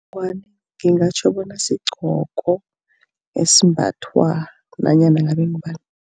Ingwani ngingatjho bona sigqoko esimbathwa nanyana ngabe ngubani.